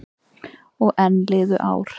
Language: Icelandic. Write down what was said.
Og enn liðu ár.